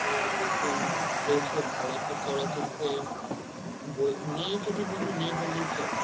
এখন দেশে ভাল একটা চলচিত্রের বল~ নেই যদি বলি নেই বললেই চলে।